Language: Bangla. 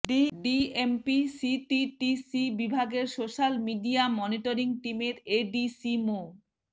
ডিএমপি সিটিটিসি বিভাগের সোশ্যাল মিডিয়া মনিটরিং টিমের এডিসি মো